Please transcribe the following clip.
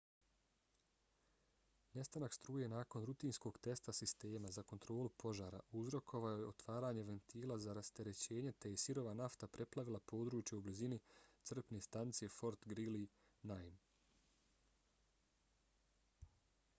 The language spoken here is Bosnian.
nestanak struje nakon rutinskog testa sistema za kontrolu požara uzrokovao je otvaranje ventila za rasterećenje te je sirova nafta preplavila područje u blizini crpne stanice fort greely 9